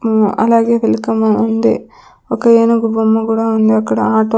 మ్ అలాగే వెల్కం ఉంది ఒక ఏనుగు బొమ్మ కూడా ఉంది అక్కడ ఆటో .